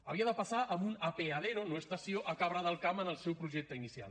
havia de passar amb un apeadero no estació per cabra del camp en el seu projecte inicial